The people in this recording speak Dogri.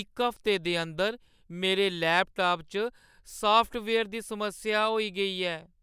इक हफ्ते दे अंदर मेरे लैपटाप च सॉफ्टवेयर दी समस्या होई गेई ऐ ।